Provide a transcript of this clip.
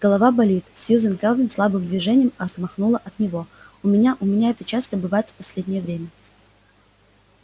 голова болит сьюзен кэлвин слабым движением отмахнула от него у меня у меня это часто бывает в последнее время